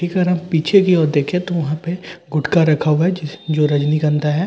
पीछे की ओर देखें तो वहां पे गुटका रखा हुआ है जो रजनीकांदा है।